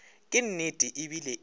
ke nnete e bile e